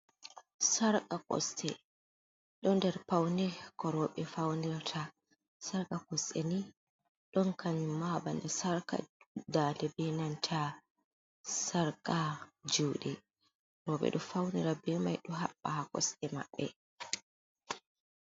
Sarka kosɗe do nder pauni ko roɓe faunir ta sarka kosɗe ni don kayun ma ha ɓanɗu sarka daɗe binanta sarka jude roɓe do faunira be mai do haɓba ha kosɗe maɓɓe.